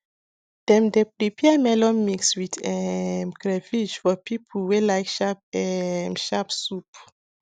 dem dey prepare melon mix with um crayfish for people wey like sharp um sharp soup